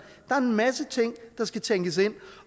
der er en masse ting der skal tænkes ind